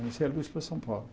Fornecia luz para São Paulo.